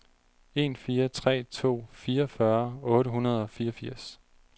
en fire tre to fireogfyrre otte hundrede og fireogfirs